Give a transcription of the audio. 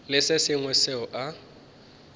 le se sengwe seo a